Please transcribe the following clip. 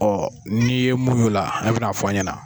n'i ye mun ye o la i bina fɔ an ɲɛna.